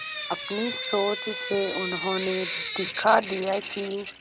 अपनी सोच से उन्होंने दिखा दिया कि